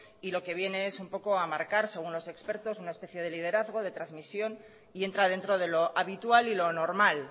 y lo que viene es un poco a marcar según los expertos una especie de liderazgo de transmisión y entra dentro de lo habitual y lo normal